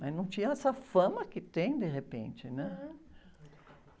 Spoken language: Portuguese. Mas não tinha essa fama que tem, de repente, né?